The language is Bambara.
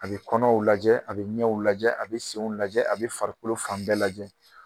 A bɛ kɔnɔw lajɛ a bɛ ɲɛw lajɛ a bɛ senw lajɛ a bɛ farikolo fan bɛɛ lajɛ